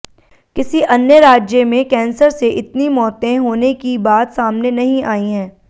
किसी अन्य राज्य में कैंसर से इतनी मौतें होने की बात सामने नहीं आई है